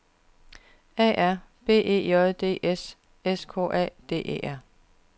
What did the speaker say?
A R B E J D S S K A D E R